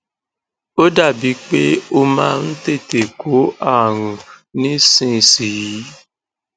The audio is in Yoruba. ó dàbíi pé ó máa ń tètè kó ààrùn nísinsìnyí